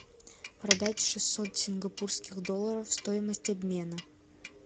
продать шестьсот сингапурских долларов стоимость обмена